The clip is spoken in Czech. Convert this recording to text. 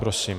Prosím.